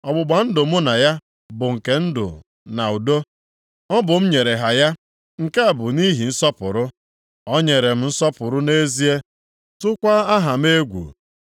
“Ọgbụgba ndụ mụ na ya bụ nke ndụ na udo, ọ bụ m nyere ha ya, nke a bụ nʼihi nsọpụrụ. O nyere m nsọpụrụ nʼezie, tụkwaa aha m egwu.